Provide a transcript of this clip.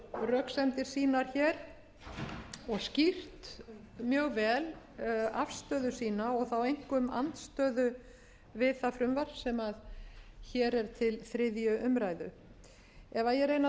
röksemdir sínar hér og skýrt mjög vel afstöðu sína og þá einkum andstöðu við það frumvarp sem hér er til þriðju umræðu ef ég reyni að